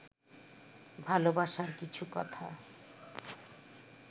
ভালবাসার কিছু কথা